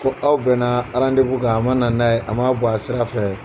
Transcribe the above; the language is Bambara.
Ko aw bɛn na kan a man na n'a ye a man bɔ a sira fɛ.